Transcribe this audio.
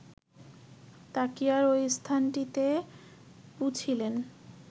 তাকিয়ার ঐ স্থানটিতে পুছিলেন